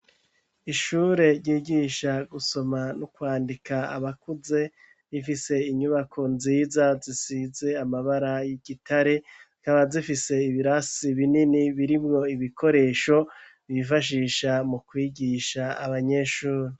Ishure ryigisha gusoma no kwandika abakuze rifise inyubako nziza zisize amabara y'igitare zikaba zifise ibirasi binini birimwo ibikoresho bifashisha mu kwigisha abanyeshure.